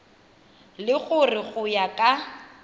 le gore go ya ka